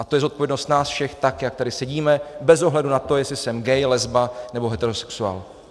A to je zodpovědnost nás všech, tak jak tady sedíme, bez ohledu na to, jestli jsem gay, lesba nebo heterosexuál.